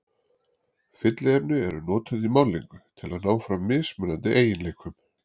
Fylliefni eru notuð í málningu til að ná fram mismunandi eiginleikum.